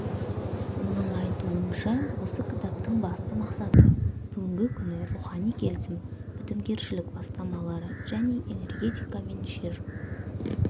оның айтуынша осы кітаптың басты мақсаты бүгінгі күні рухани келісім бітімгершілік бастамалары және энергетика мен жер